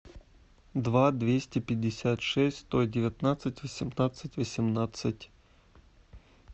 два двести пятьдесят шесть сто девятнадцать восемнадцать восемнадцать